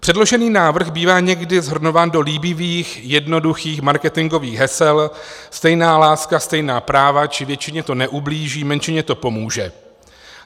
Předložený návrh bývá někdy shrnován do líbivých, jednoduchých marketingových hesel: stejná láska, stejná práva či většině to neublíží, menšině to pomůže.